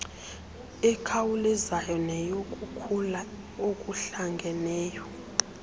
ekhawulezayo neyokukhula okuhlangeneyo